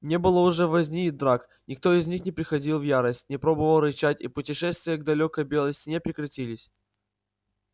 не было уже возни и драк никто из них не приходил в ярость не пробовал рычать и путешествия к далёкой белой стене прекратились